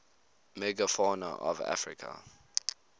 megafauna of africa